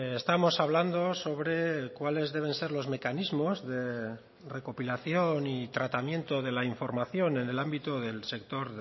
estamos hablando sobre cuáles deben ser los mecanismos de recopilación y tratamiento de la información en el ámbito del sector